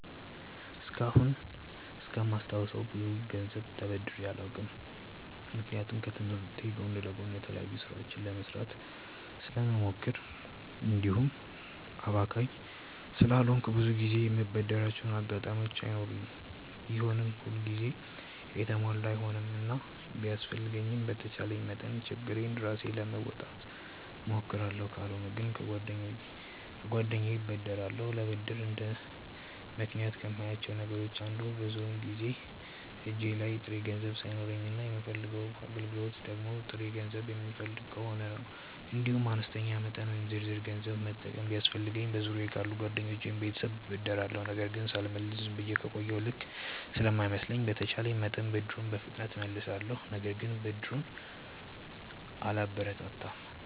እስካሁን እስከማስታውሰው ብዙ ገንዘብ ተበድሬ አላውቅም። ምክንያቱም ከትምህርቴ ጎን ለጎን የተለያዩ ስራዎችን ለመስራት ስለምሞክር እንዲሁም አባካኝ ስላልሆንኩ ብዙ ጊዜ የምበደርባቸው አጋጣሚዎች አይኖሩም። ቢሆንም ሁል ጊዜ የተሟላ አይሆንምና ቢያስፈልገኝም በተቻለኝ መጠን ችግሬን ራሴ ለመወጣት እሞክራለሁ። ካልሆነ ግን ከጓደኛዬ እበደራለሁ። ለብድር እንደ ምክንያት ከማያቸው ነገሮች አንዱ ብዙውን ጊዜ እጄ ላይ ጥሬ ገንዘብ ሳይኖረኝ እና የምፈልገው አገልግሎት ደግሞ ጥሬ ገንዘብ የሚፈልግ ከሆነ ነው። እንዲሁም አነስተኛ መጠን ወይም ዝርዝር ገንዘብ መጠቀም ቢያስፈልገኝ በዙሪያየ ካሉ ጓደኞቼ ወይም ቤተሰብ እበደራለሁ። ነገር ግን ሳልመልስ ዝም ብዬ ከቆየሁ ልክ ስለማይመስለኝ በተቼለኝ መጠን ብድሩን በፍጥነት እመልሳለሁ። ነገር ግን ብድርን አላበረታታም።